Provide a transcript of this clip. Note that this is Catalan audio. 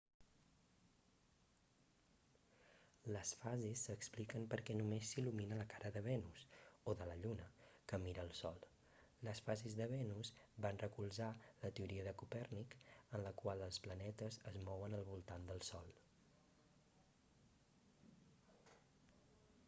les fases s'expliquen perquè només s'il·lumina la cara de venus o de la lluna que mira al sol. les fases de venus van recolzar la teoria de copèrnic en la qual els planetes es mouen al voltant del sol